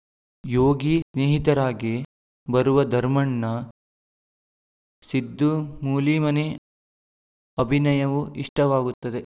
ಯೋಗಿ ಸ್ನೇಹಿತರಾಗಿ ಬರುವ ಧರ್ಮಣ್ಣ ಸಿದ್ದು ಮೂಲಿಮನಿ ಅಭಿನಯವೂ ಇಷ್ಟವಾಗುತ್ತದೆ